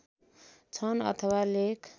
छन् अथवा लेख